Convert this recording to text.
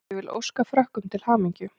Ég vil óska Frökkum til hamingju.